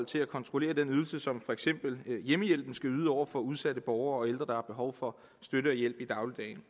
til at kontrollere den service som for eksempel hjemmehjælpen skal yde over for udsatte borgere og ældre der har behov for støtte og hjælp i dagligdagen